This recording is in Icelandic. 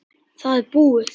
Það er búið.